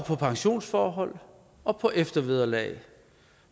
på pensionsforhold og på eftervederlag